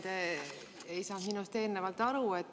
Te ei saanud minust eelnevalt aru.